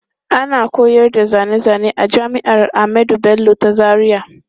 Ana koyar da zane zane a jami'ar Ahmadu Bello ta Zaria.